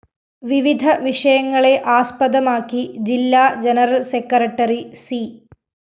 വിവിധ വിഷയങ്ങളെ ആസ്പദമാക്കി ജില്ലാ ജനറൽ സെക്രട്ടറി സി